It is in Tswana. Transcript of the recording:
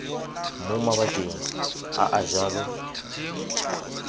mo mabakeng a a jalo